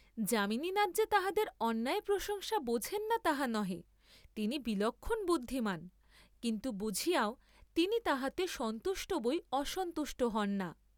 যামিনীনাথ যে তাহাদের অন্যায় প্রশংসা বোঝেন না তাহা নহে, তিনি বিলক্ষণ বুদ্ধিমান, কিন্তু বুঝিয়াও তিনি তাহাতে সন্তুষ্ট বই অসন্তুষ্ট হন না।